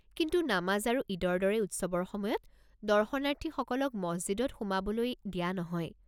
কিন্তু নামাজ আৰু ঈদৰ দৰে উৎসৱৰ সময়ত দৰ্শনাৰ্থীসকলক মছজিদত সোমাবলৈ দিয়া নহয়।